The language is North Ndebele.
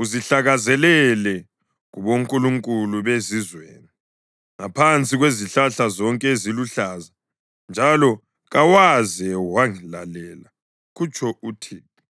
uzihlakazelele kubonkulunkulu bezizweni ngaphansi kwezihlahla zonke eziluhlaza, njalo kawaze wangilalela,’ ” kutsho uThixo.